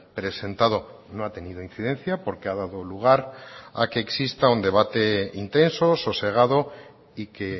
presentado no ha tenido incidencia porque ha dado lugar a que exista un debate intenso sosegado y que